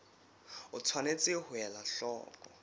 o tshwanetse ho ela hloko